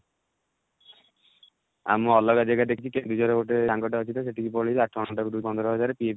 ଆଉ ମୁଁ ଅଲଗା ଜାଗା ଦେଖିଛି କେନ୍ଦୁଝର ରେ ଗୋଟେ ସାଙ୍ଗ ଟେ ଅଛି ତ ସେଠିକି ପଳେଇବି ଆଠ ଘଣ୍ଟା କୁ ଦେବେ ପନ୍ଦର ହଜାର